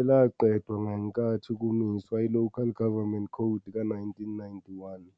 elaqedwa ngenkathi kumiswa i- Local Government Code ka-1991.